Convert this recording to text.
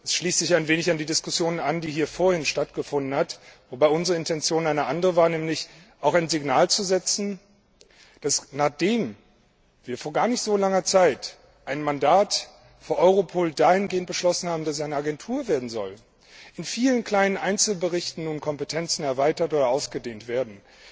Dies schließt sich ein wenig an die Diskussion an, die hier vorhin stattgefunden hat, wobei unsere Intention eine andere war, nämlich auch ein Signal zu setzen, dass nachdem wir vor gar nicht so langer Zeit ein Mandat für Europol dahingehend beschlossen haben, dass es eine Agentur werden soll in vielen kleinen Einzelbereichen nun Kompetenzen erweitert oder ausgedehnt werden.